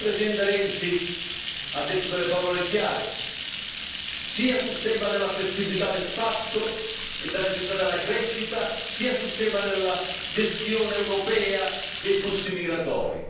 Il Presidente Renzi ha detto delle parole chiare sia sul tema della flessibilità del patto e della necessità della crescita, sia sul tema della gestione europea dei flussi migratori.